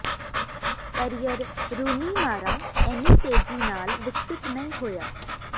career Rooney ਮਾਰ਼ਾ ਇੰਨੀ ਤੇਜ਼ੀ ਨਾਲ ਵਿਕਸਿਤ ਨਹੀਂ ਹੋਇਆ